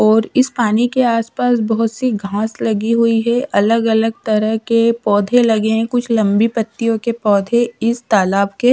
और इस पानी के आस पास बहोत सी घास लगी हुई है अलग अलग तरह के पौधे लगे है कुछ लंबी पत्तियो के पौधे इस तालाब के--